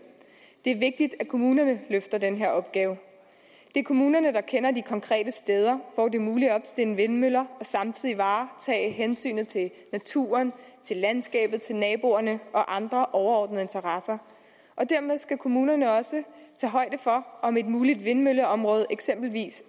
det er vigtigt at kommunerne løfter den her opgave det er kommunerne der kender de konkrete steder hvor det er muligt at opstille vindmøller og samtidig varetage hensynet til naturen til landskabet til naboerne og andre overordnede interesser dermed skal kommunerne også tage højde for om et muligt vindmølleområde eksempelvis